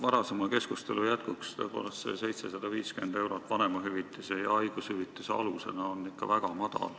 Varasema keskustelu jätkuks: tõepoolest, see 750 eurot vanemahüvitise ja haigushüvitise alusena on ikka väga madal.